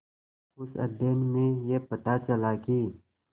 उस अध्ययन में यह पता चला कि